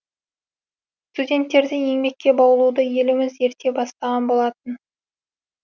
студенттерді еңбекке баулуды еліміз ерте бастаған болатын